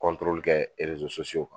Kɔntorol kɛ rerzo soso kan